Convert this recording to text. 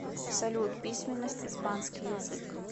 салют письменность испанский язык